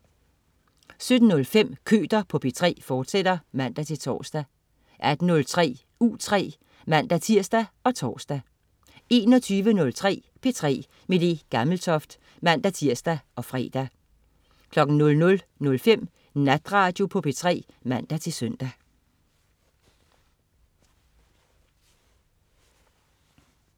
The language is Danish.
17.05 Køter på P3, fortsat (man-tors) 18.03 U3 (man-tirs og tors) 21.03 P3 med Le Gammeltoft (man-tirs og fre) 00.05 Natradio på P3 (man-søn)